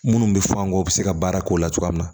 Minnu bɛ fɔ an kan u bɛ se ka baara k'o la cogoya min na